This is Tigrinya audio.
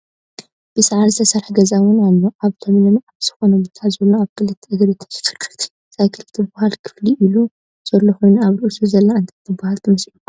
ብሳዕሪ ዝተሰረሐ ገዛ እውን ኣሎ። ኣብ ለምለም ኣብ ዝኮነ ቦታ ዘሎ ኣብ ክለተ እግሪ ተሽከርካሪት ሳይክል ትብሃል ከፍ ኢሉ ዘሎ ኮይኑ ኣብ ርእሱ ዘላ እንታይ ትብሃል ትመስለኩም?